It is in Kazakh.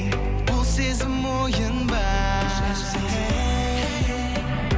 бұл сезім ойын ба хей